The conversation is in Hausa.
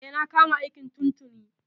E, na kama aiki tun tuni.